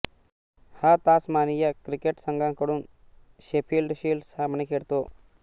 हा Tasmania cricket संघाकडून Sheffield shield सामने खेळतो